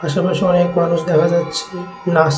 আশেপাশে অনেক মানুষ দেখা যাচ্ছে নাচ--